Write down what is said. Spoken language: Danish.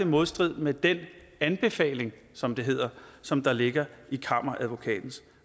modstrid med den anbefaling som det hedder som der ligger i kammeradvokatens